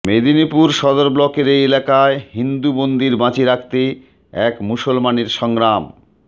মেদিনীপুর সদর ব্লকের এই এলাকায় হিন্দু মন্দির বাঁচিয়ে রাখতে এক মুসলমানের সংগ্রামের